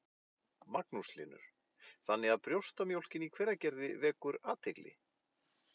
Magnús Hlynur: Þannig að brjóstamjólkin í Hveragerði vekur athygli?